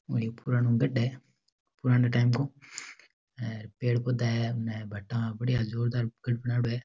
गढ़ है पुराणे टाइम को पेड़ पौधे है इनमे बड़ा बढ़िया जोरदार गढ़ बनायेड़ो है।